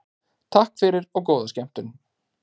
Takk fyrir og góða skemmtun.